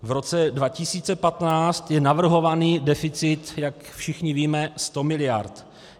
V roce 2015 je navrhovaný deficit, jak všichni víme, 100 mld.